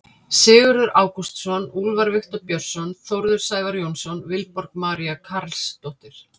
Sigurður Ágústsson, Úlfar Viktor Björnsson, Þórður Sævar Jónsson, Vilborg María Carlsdóttir.